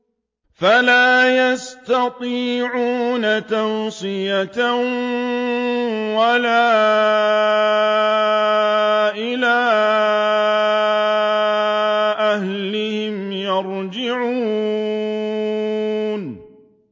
فَلَا يَسْتَطِيعُونَ تَوْصِيَةً وَلَا إِلَىٰ أَهْلِهِمْ يَرْجِعُونَ